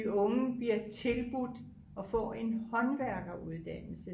de unge bliver tilbudt at få en håndværkeruddannelse